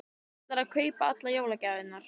Hann ætlar að kaupa allar jólagjafirnar.